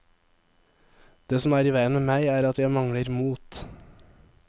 Det som er i veien med meg, er at jeg mangler mot.